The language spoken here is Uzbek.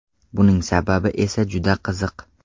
Buning sababi esa juda qiziq.